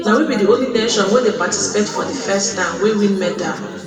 na we be di only nation wey dey participate for di first time wey win medal